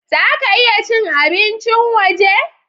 Za ka iya cin abincin waje?